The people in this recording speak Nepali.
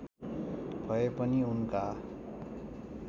भए पनि उनका